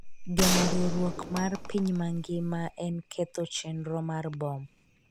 geno riwruok mar piny mangima en ketho chenro mar bom